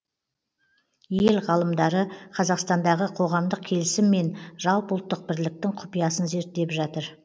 ел ғалымдары қазақстандағы қоғамдық келісім мен жалпыұлттық бірліктің құпиясын зерттеп жатыр